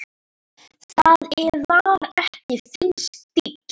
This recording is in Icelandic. Það var ekki þinn stíll.